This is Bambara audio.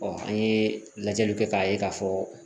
an ye lajɛliw kɛ k'a ye k'a fɔ